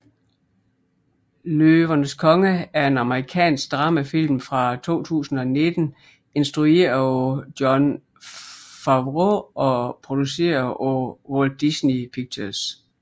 Løvernes Konge er en amerikansk dramafilm fra 2019 instrueret af Jon Favreau og produceret af Walt Disney Pictures